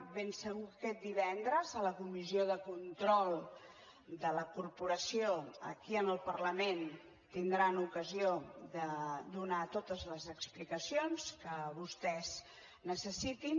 de ben segur que aquest divendres a la comissió de control de la corporació aquí en el parlament tindran ocasió de donar totes les explicacions que vostès necessitin